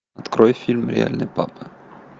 открой фильм реальный папа